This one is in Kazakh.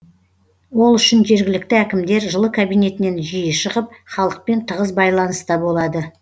ол үшін жергілікті әкімдер жылы кабинетінен жиі шығып халықпен тығыз байланыста болады